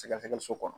Sɛgɛsɛgɛliso kɔnɔ